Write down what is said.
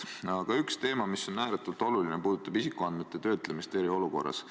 Aga üks teema, mis on ääretult oluline, puudutab isikuandmete töötlemist eriolukorras.